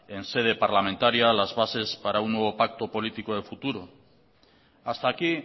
en sede parlamentaria las bases para un nuevo pacto político de futuro hasta aquí